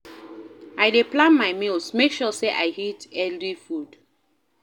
I dey plan my meals, make sure sey I eat healthy food.